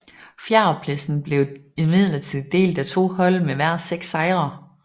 Fjerdepladsen blev imidlertid delt af to hold med hver seks sejre